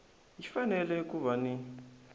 yi fanele ku va ni